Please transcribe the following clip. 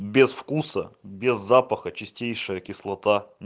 без вкуса без запаха чистейшая кислота